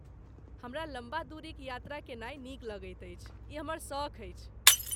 हमरा लम्बा दूरीक यात्रा केनाइ नीक लगैत अछि, ई हमर सख़ अछि।